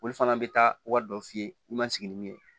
Olu fana bɛ taa wari dɔ f'i ye i ma sigi ni min ye